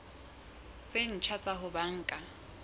tse ntjha tsa ho banka